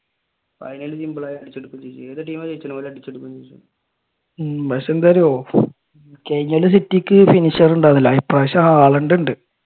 ഉം പക്ഷെ എന്തായറിയോ കഴിഞ്ഞ കൊല്ലം സിറ്റിക്ക് ഫിനിഷർ ഉണ്ടായില്ല ഈക്കൊല്ലം ഹാലാൻഡ് ഉണ്ട്.